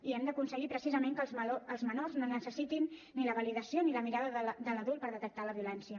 i hem d’aconseguir precisament que els menors no necessitin ni la validació ni la mirada de l’adult per detectar la violència